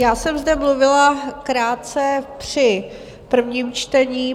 Já jsem zde mluvila krátce při prvním čtení.